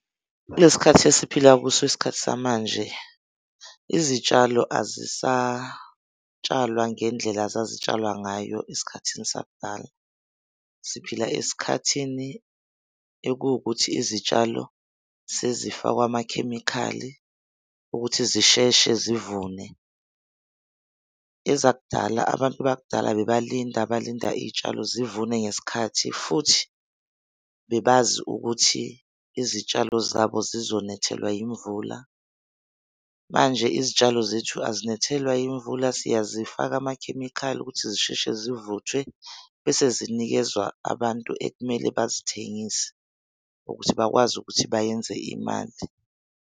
Kule sikhathi esiphila kuso isikhathi samanje, izitshalo azisatshalwa ngendlela zazitshalwa ngayo esikhathini sakudala. Siphila esikhathini ekuwukuthi izitshalo sezifakwa amakhemikhali ukuthi zisheshe zivune. Ezakudala, abantu bakudala bebalinde balinda izitshalo zivune ngesikhathi, futhi bebazi ukuthi izitshalo zabo zizonethelwa yimvula. Manje izitshalo zethu azinethelwa yimvula, siyazifaka amakhemikhali ukuthi zisheshe zivuthwe bese zinikezwa abantu ekumele bazithengise ukuthi bakwazi ukuthi bayenze imali.